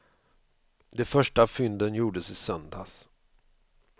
De första fynden gjordes i söndags.